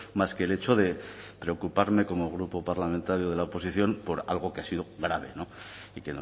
más que el hecho de preocuparme como grupo parlamentario de la oposición por algo que ha sido grave y